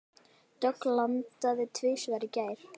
Dögg landaði tvisvar í gær.